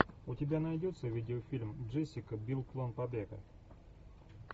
у тебя найдется видеофильм джессика бил план побега